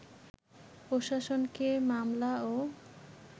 প্রশাসনকে মামলা ও